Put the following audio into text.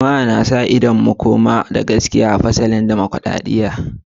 Jama'a na sa ido ga makoma inda fasaha, gaskiya, da sa hannun 'yan ƙasa za su sake fasalin tsarin dimokuradiyya.